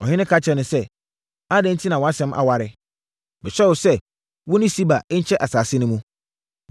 Ɔhene ka kyerɛɛ no sɛ, “Adɛn enti na wʼasɛm aware? Mehyɛ mo sɛ, wo ne Siba nkyɛ nsase no mu.”